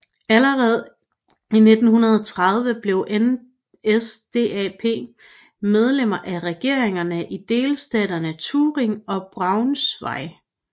Allerede i 1930 blev NSDAP medlem af regeringerne i delstaterne Thüringen og Braunschweig